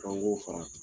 fara